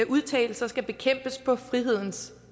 udtalelser skal bekæmpes på frihedens